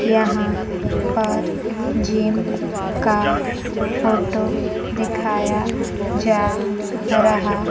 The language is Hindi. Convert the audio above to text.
यहां पर जिम का फोटो दिखाया जा रहा--